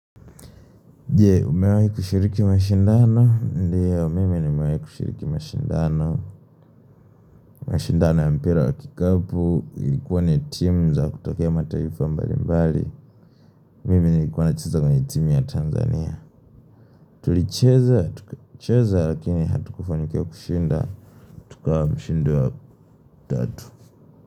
Je, umewahi kushiriki mashindano. Ndiyo mimi nimewahi kushiriki mashindano. Mashindano ya mpira wa kikapu. Ilikuwa ni timu za kutokea mataifa mbalimbali. Mimi nilikuwa nacheza ni team ya Tanzania. Tulicheza, tukacheza lakini hatukufanikiwa kushinda. Tukawa mshindi wa tatu.